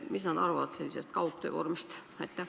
Mis nemad arvavad sellisest kaugtöövormist?